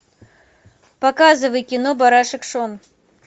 показывай кино барашек шон